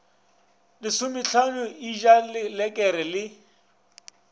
lesomehlano e ja lelekere le